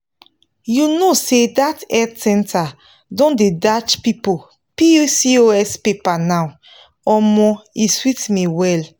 you know say that health center don dey dash people pcos paper now omo e sweet me well.